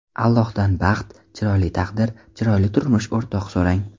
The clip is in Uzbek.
Allohdan baxt, chiroyli taqdir, chiroyli turmush so‘rang.